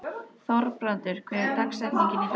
Þorbrandur, hver er dagsetningin í dag?